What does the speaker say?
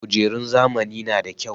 Kujerun zamani na da kyau.